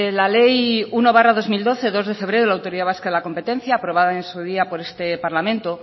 la ley uno barra dos mil doce dos de febrero de la autoridad vasca de la competencia aprobada en su día por este parlamento